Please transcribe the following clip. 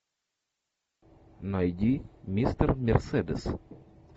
найди мистер мерседес